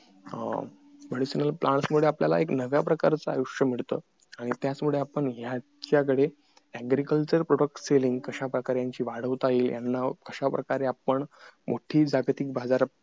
medicinal plants मध्ये आपल्याला एक नव्या प्रकारचं आयुष्य मिळत आणि त्याच मुळे आपण यांच्या कडे agriculture product selling कश्या प्रकारे वाढवता येईल याना कश्या प्रकारे आपण मोठी जागतिक बाजार